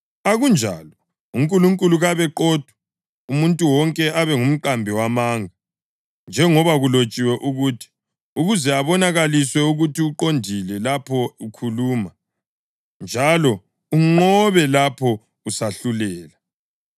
Akunjalo! UNkulunkulu kabe qotho, umuntu wonke abe ngumqambi wamanga. Njengoba kulotshiwe ukuthi: “Ukuze ubonakaliswe ukuthi uqondile lapho ukhuluma, njalo unqobe lapho usahlulela.” + 3.4 AmaHubo 51.4